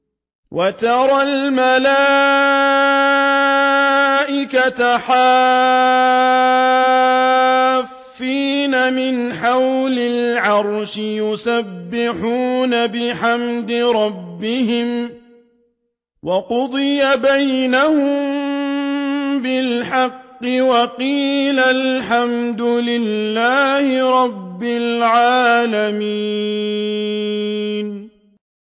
وَتَرَى الْمَلَائِكَةَ حَافِّينَ مِنْ حَوْلِ الْعَرْشِ يُسَبِّحُونَ بِحَمْدِ رَبِّهِمْ ۖ وَقُضِيَ بَيْنَهُم بِالْحَقِّ وَقِيلَ الْحَمْدُ لِلَّهِ رَبِّ الْعَالَمِينَ